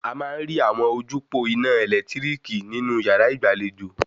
A máa ń rí àwọn ojúpòó ina ẹ̀lẹ́tíríkì nínú yàrá ìgbàlejò